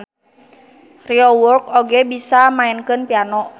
Ryeowook oge bisa maenkeun piano.